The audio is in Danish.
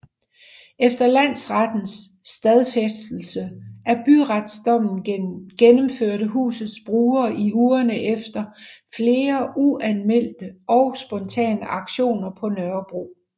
Efter landsrettens stadfæstelse af byretsdommen gennemførte husets brugere i ugerne efter flere uanmeldte og spontane aktioner på Nørrebro